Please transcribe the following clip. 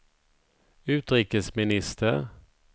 utrikesminister